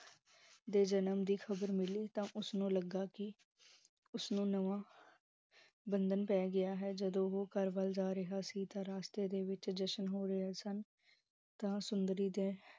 ਦੇ ਜਨਮ ਦੀ ਖਬਰ ਮਿਲੀ ਤਾਂ ਉਸਨੂੰ ਲੱਗਾ ਕਿ, ਉਸਨੂੰ ਨਵਾਂ ਬੰਧਨ ਪੈ ਗਿਆ ਹੈ, ਜਦੋ ਘਰ ਵਲ ਜਾ ਰਿਹਾ ਸੀ ਤਾਂ, ਰਾਸਤੇ ਵਿਚ ਜਸ਼ਨ ਹੋ ਰਹੇ ਸਨ, ਤਾਂ ਸੁੰਦਰੀ ਦੇ